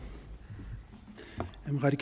i